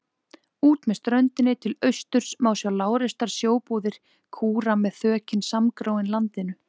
Út með ströndinni til austurs má sjá lágreistar sjóbúðir kúra með þökin samgróin landinu.